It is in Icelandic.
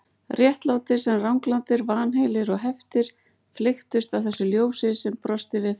Réttlátir sem ranglátir, vanheilir og heftir flykktust að þessu ljósi sem brosti við þeim.